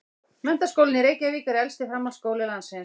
Menntaskólinn í Reykjavík er elsti framhaldsskóli landsins.